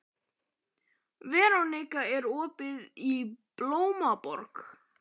Veronika, er opið í Blómaborg?